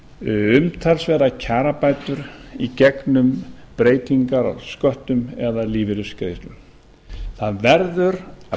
umtalsverðar kjarabætur í gegnum breytingar á sköttum eða lífeyrisgreiðslum það verður að